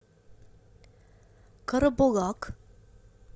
карабулак